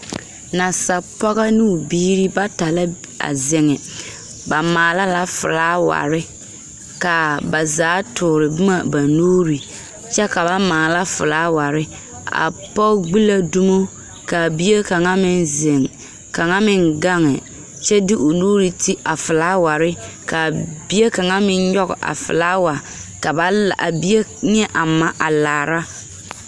Nansapͻgͻ noo biiri bata la a zeŋԑ. Ba maala la filaaware, kaa ba zaa toore boma ba nuuri, kyԑ ka ba maala filaaware. A pͻge gbi la dumo kaa bie kaŋa meŋ zeŋԑ, kaŋa meŋ gaŋe kyԑ de o nuuri ti a filaaware kaa bie kaŋa meŋ nyͻge a filaawa ka ba la a bie ne a ma laara.